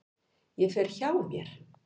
Ég fer hjá mér.